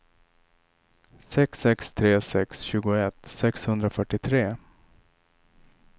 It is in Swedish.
sex sex tre sex tjugoett sexhundrafyrtiotre